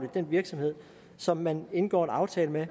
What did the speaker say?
den virksomhed som man indgår en aftale med